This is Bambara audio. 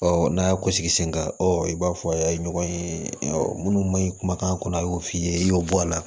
n'a y'a gosi sen kan ɔ i b'a fɔ ye ɲɔgɔn ye minnu ma ɲi kumakan kɔnɔ a y'o f'i ye i y'o bɔ a la